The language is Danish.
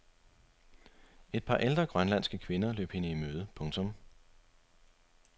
Et par ældre grønlandske kvinder løb hende i møde. punktum